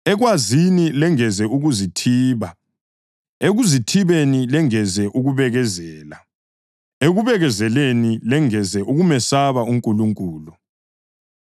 ekwazini lengeze ukuzithiba; ekuzithibeni lengeze ukubekezela; ekubekezeleni lengeze ukumesaba uNkulunkulu;